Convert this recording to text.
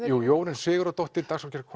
jú Jórunn Sigurðardóttir